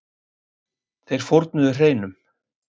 Þeir fórnuðu hreinum.